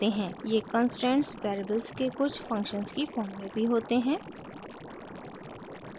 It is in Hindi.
ये कंस्ट्रेंट्स वेरिएबल्स के कुछ फंक्शन्स की फॉर्म में भी होते हैं